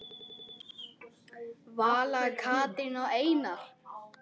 Hver hefði búist við því?